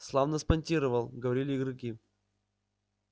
славно спонтировал говорили игроки